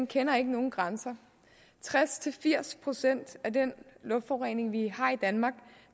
kender nogen grænser tres til firs procent af den luftforurening vi har i danmark